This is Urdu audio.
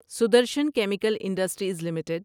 Sudarshan chemical industries limited